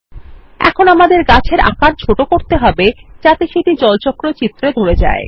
এখন আমাদের গাছের আকার ছোট করতে হবে যাতে সেটি জলচক্র চিত্রে ধরে যায়